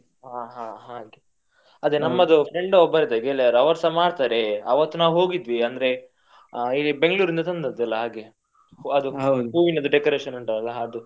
ಹ ಹಾ ಹಾಗೆ. ಅದೆ ನಮ್ಮದು friend ಒಬ್ಬರು ಇದ್ದಾರೆ ಗೆಳೆಯರು ಅವರ್ಸ ಮಾಡ್ತಾರೆ ಅವತ್ತು ನಾವು ಹೋಗಿದ್ವಿ ಅಂದ್ರೆ ಈ ಬೆಂಗ್ಳೂರಿಂದ ತಂದದ್ದೆಲ್ಲ ಹಾಗೆ ಅದು ಹೂವಿನ decoration ಉಂಟಲ್ಲ ಅದು.